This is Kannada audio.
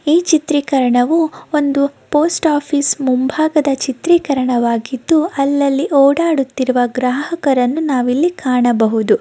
ಈ ಚಿತ್ರೀಕರಣವು ಒಂದು ಪೋಸ್ಟ್ ಆಫೀಸ್ ಮುಂಭಾಗದ ಚಿತ್ರೀಕರವಾಗಿದ್ದು ಅಲ್ಲಲ್ಲಿ ಓಡಾಡುತ್ತಿರುವ ಗ್ರಾಹಕರನ್ನು ನಾವ್ ಇಲ್ಲಿ ಕಾಣಬಹುದು.